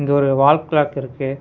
இங்க ஒரு wall clock இருக்கு.